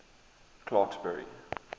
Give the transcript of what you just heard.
clarksburry